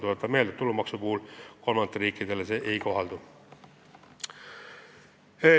Tuletan meelde, et tulumaks kolmandate riikide meremeestele ei kohaldu.